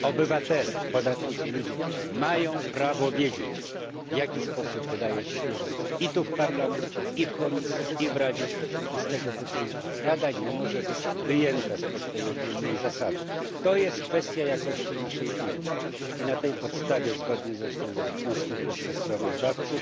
Obywatele, podatnicy, ludzie mają prawo wiedzieć, w jaki sposób wydaje się pieniądze i tu w Parlamencie, i w Komisji, i w Radzie i z tego tytułu Rada nie może być wyjęta spod tej ogólnej zasady. To jest kwestia jakości naszej Unii i na tej podstawie zgodnie z wnioskiem posła sprawozdawcy